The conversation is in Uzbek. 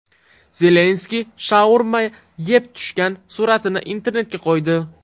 Zelenskiy shaurma yeb tushgan suratini internetga qo‘ydi.